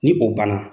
Ni o banna